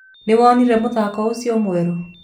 nĩwonire mũthako ũcio mwerũ.